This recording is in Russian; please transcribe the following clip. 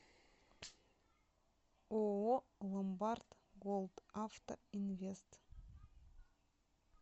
ооо ломбард голд авто инвест